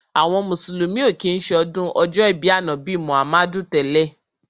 Àwọn mùsùlùmí ò kí ń ṣọdún ọjọ́ ìbí Ànábì Muhammadu tẹ́lẹ̀.